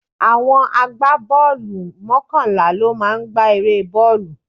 Àwọn agbá bọ́ọ̀lù mọ́kànlá ló máa ń gba eré bọ́ọ̀lù.